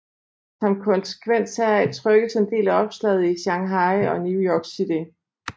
Som konsekvens heraf trykkes en del af oplaget i Shanghai og New York City